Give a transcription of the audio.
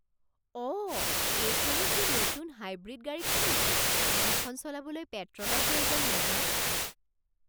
অঁ! এইখনেই সেই নতুন হাইব্ৰিড গাড়ীখন নেকি যিখন চলাবলৈ পেট্ৰলৰ প্ৰয়োজন নহয়?